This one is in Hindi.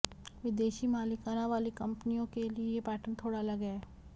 विदेशी मालिकाना वाली कंपनियों के लिए यह पैटर्न थोड़ा अलग है